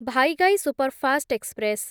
Vaigai superfast express